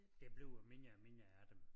Der bliver mindre og mindre af dem